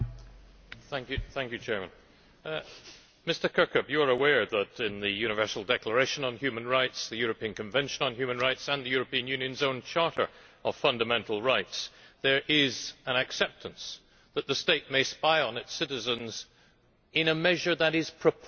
Mr Kirkhope, you are aware that in the Universal Declaration on Human Rights, the European Convention on Human Rights and the European Union's own Charter of Fundamental Rights, there is an acceptance that the state may spy on its citizens in a measure that is proportionate to the threat.